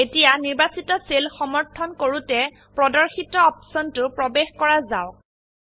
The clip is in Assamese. এতিয়া নিৰ্বাচিত সেল সমৰ্থন কৰোতে প্ৰদৰ্শিত অপশনটো প্ৰবেশ কৰা যাওক